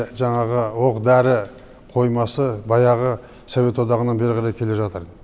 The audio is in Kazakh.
жаңағы оқ дәрі қоймасы баяғы совет одағынан бері қарай келе жатыр